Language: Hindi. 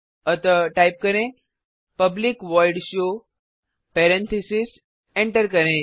अतः टाइप करें public void show parentheses enter करें